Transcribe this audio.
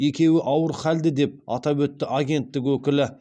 екеуі ауыр халді деп атап өтті агенттік өкілі